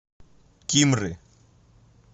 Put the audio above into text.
кимры